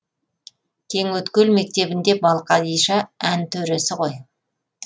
кеңөткел мектебінде балқадиша ән төресі ғой